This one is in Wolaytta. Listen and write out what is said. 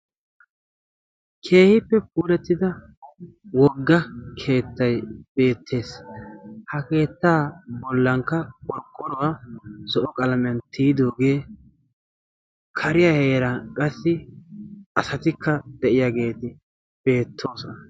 keehiippe puurettida wogga keettai beettees. ha keettaa bollankka qorqqoruwaa so7o qalaamiyan tiyidoogee kariyaa heeran qassi asatikka de7iyaageeti beettoosona.